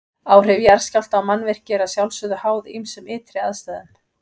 Áhrif jarðskjálfta á mannvirki eru að sjálfsögðu háð ýmsum ytri aðstæðum.